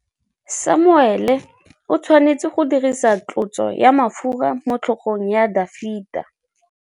Samuele o tshwanetse go dirisa tlotsô ya mafura motlhôgong ya Dafita.